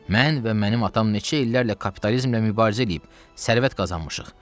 Mən və mənim atam neçə illərlə kapitalizmlə mübarizə eləyib sərvət qazanmışıq.